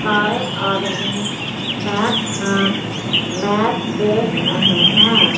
सारे आदमी बैठकर मैच देख रहे हैं।